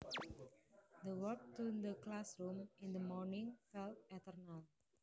The walk to the classroom in the morning felt eternal